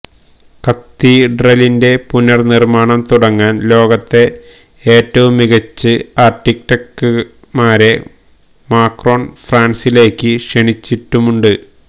കത്തീഡ്രലിന്റെ പുനർനിർമ്മാണം തുടങ്ങാൻ ലോകത്തെ ഏറ്റവും മികച്ച് ആർക്കിടെക്ടുമാരെ മാക്രോൺ ഫ്രാൻസിലേക്ക് ക്ഷണിച്ചിട്ടുമുണ്ട്